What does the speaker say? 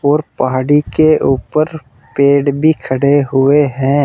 और पहाड़ी के ऊपर पेड़ भी खड़े हुए हैं।